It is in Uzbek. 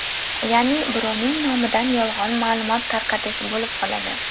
Ya’ni birovning nomidan yolg‘on ma’lumot tarqatish bo‘lib qoladi.